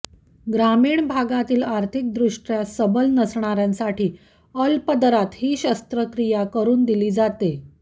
ग्रामीण भागातील आर्थिकदृष्टय़ा सबल नसणाऱ्यांसाठी अल्प दरात ही शस्त्रक्रिया करून दिली जाते